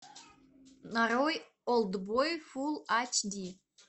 нарой олд бой фул ач ди